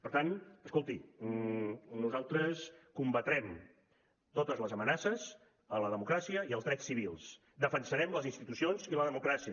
per tant escolti nosaltres combatrem totes les amenaces a la democràcia i als drets civils defensarem les institucions i la democràcia